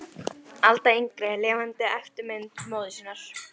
Alda yngri er lifandi eftirmynd móður sinnar.